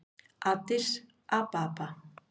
Addis Ababa